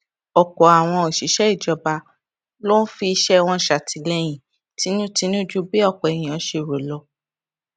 òpò àwọn òṣìṣé ìjọba ló ń fi iṣẹ wọn ṣàtìlẹyìn tinútinú ju bí òpò èèyàn ṣe lérò lọ